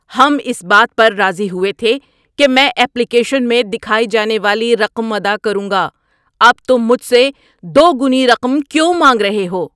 ہم اس بات پر راضی ہوئے تھے کہ میں ایپلیکیشن میں دکھائی جانے والی رقم ادا کروں گا۔ اب تم مجھ سے دوگنی رقم کیوں مانگ رہے ہو؟